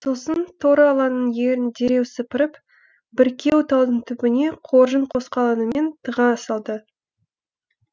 сосын торы аланың ерін дереу сыпырып бүркеу талдың түбіне қоржын қосқалаңымен тыға салды